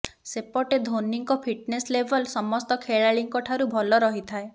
ସେପଟେ ଧୋନୀଙ୍କ fitness level ସମସ୍ତ ଖେଳାଳୀଙ୍କ ଠାରୁ ଭଲ ରହିଥାଏ